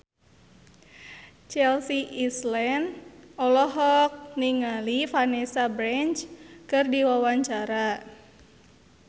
Chelsea Islan olohok ningali Vanessa Branch keur diwawancara